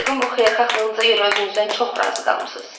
Yəqin bu xeyirxahlığınıza görə özünüzdən çox razı qalmısınız.